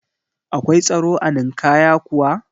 Akwai tsaro a Ninkaya kuwa?